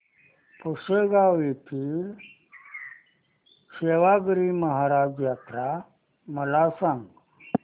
पुसेगांव येथील सेवागीरी महाराज यात्रा मला सांग